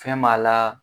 Fɛn b'a la